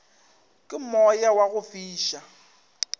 ke moya wa go fiša